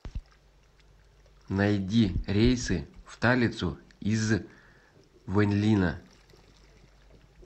найди рейсы в талицу из вэньлина